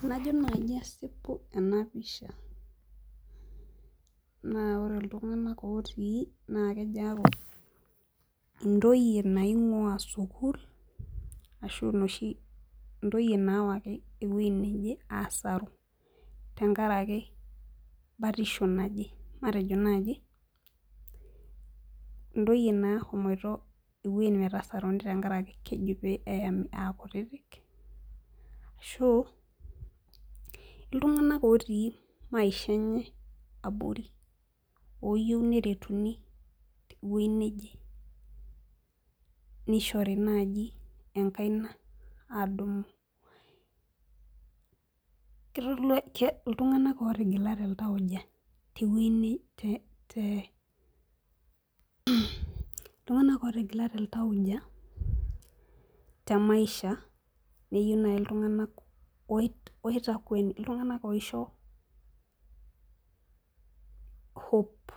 tenajo naaji asipu ena pisha na ore iltunaganak otii naa kejo aaku intoyie naing'ua sukul ashu itoyie naawaki weji neje asaru tenkaraki batisho naje matejo naaji, intoyie naahomoito eweji metasaruni tenkaraki keji pee eyami aakutiti ashu iltung'anak otii maisha enye abori , ooyiou neretuni teweji neje nishori naaji enkaina adumu iltung'anak ootigilate iltaauja, temaisha neyieu naaji iltung'anak oitakweni oisho hope